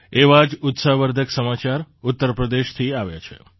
એવા જ ઉત્સાહવર્ધક સમાચાર ઉત્તર પ્રદેશથી આવ્યા છે